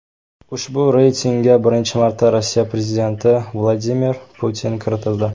Ushbu reytingga birinchi marta Rossiya prezidenti Vladimir Putin kiritildi.